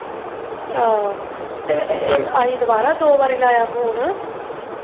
ਆਹ ਅਸੀਂ ਦੁਬਾਰਾ ਦੋ ਵਾਰੀ ਲਗਾਇਆ phone